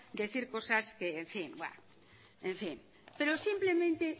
decir cosas que en fin en fin pero simplemente